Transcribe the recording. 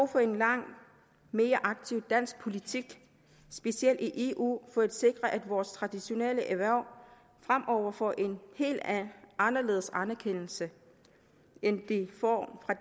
for en langt mere aktiv dansk politik specielt i eu for at sikre at vores traditionelle erhverv fremover får en helt anderledes anerkendelse end de får fra